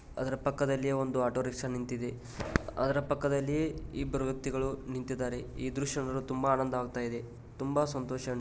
ಅದರ ಪಕ್ಕದಲ್ಲಿ ಒಂದು ಆಟೋರಿಕ್ಷಾ ನಿಂತಿದೆ ಅದರ ಪಕ್ಕದಲ್ಲಿ ಇಬ್ಬರು ವ್ಯಕ್ತಿಗಳು ನಿಂತಿದ್ದಾರೆ. ಈ ದೃಶ್ಯವನ್ನು ನೋಡಲು ತುಂಬಾ ಆನಂದ ಆಗ್ತಾ ಇದೆ ತುಂಬಾ ಸಂತೋಷ ಅನಿಸಿದೆ.